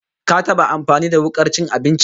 Ka taba amfani da wukar cin abinci?